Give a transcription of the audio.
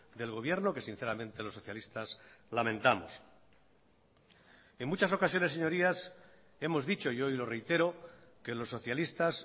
del gobierno que sinceramente los socialistas lamentamos en muchas ocasiones señorías hemos dicho y hoy lo reitero que los socialistas